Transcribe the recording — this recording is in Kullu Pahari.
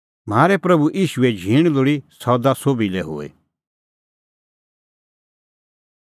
म्हारै प्रभू ईशूए झींण लोल़ी सदा तम्हां सोभी लै हुई